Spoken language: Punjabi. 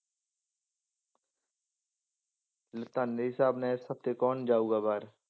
ਤੁਹਾਡੇ ਹਿਸਾਬ ਨਾਲ ਇਸ ਹਫ਼ਤੇ ਕੌਣ ਜਾਊਗਾ ਬਾਹਰ?